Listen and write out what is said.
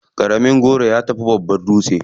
Ƙaramin goro ya fi babban dutse.